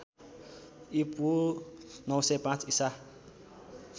ईपू ९०५ ईसा